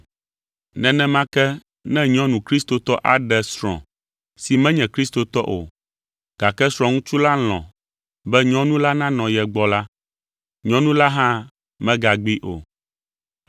Nenema ke ne nyɔnu kristotɔ aɖe srɔ̃ si menye kristotɔ o, gake srɔ̃ŋutsu la lɔ̃ be nyɔnu la nanɔ ye gbɔ la, nyɔnu la hã megagbee o.